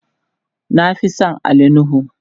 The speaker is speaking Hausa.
na Fi San Ali nuhu